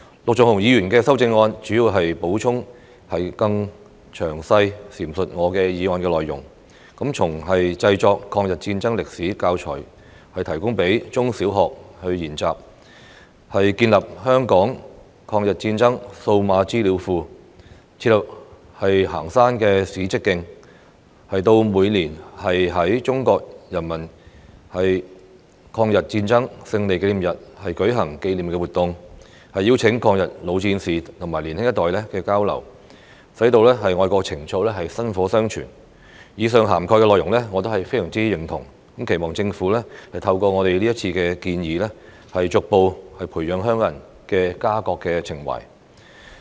陸頌雄議員的修正案主要是補充並更詳細闡述我的議案內容，從製作抗日戰爭歷史教材供中、小學研習；建立香港抗日戰爭數碼資料庫；設立行山史蹟徑；到每年在中國人民抗日戰爭勝利紀念日舉行紀念活動，邀請抗日老戰士與年輕一代交流，使愛國情操薪火相傳；對於以上涵蓋的內容，我也非常認同，期望政府透過我們這次提出的建議，逐步培養香港人的家國情懷。